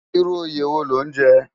Irú óyé wó ló n jè?